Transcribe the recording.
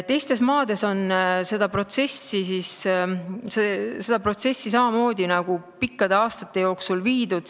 Teistes maades on seda protsessi samamoodi pikkade aastate jooksul läbi viidud.